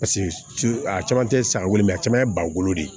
Paseke a caman tɛ sagolen mɛ a caman ye bagolo de